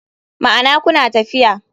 Ma'ana kuna lafiya.